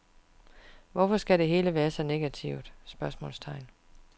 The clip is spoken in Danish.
Hvorfor skal det hele være så negativt? spørgsmålstegn